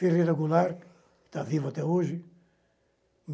Ferreira Goulart, que está vivo até hoje.